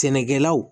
Sɛnɛkɛlaw